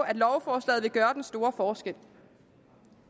at lovforslaget vil gøre den store forskel